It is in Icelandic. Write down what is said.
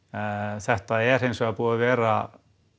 þetta er hins vegar búið að vera